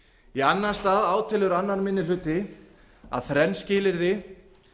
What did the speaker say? í annan stað átelur annar minni hluti að þrjú skilyrði